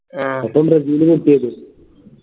ഇപ്പം ബ്രസീല്പൊട്ടിയത്